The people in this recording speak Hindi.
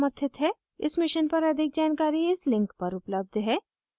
इस mission पर अधिक जानकारी इस link पर उपलब्ध है